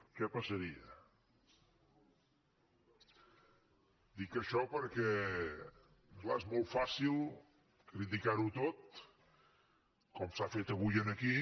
què passaria dic això perquè clar és molt fàcil criticar ho tot com s’ha fet avui aquí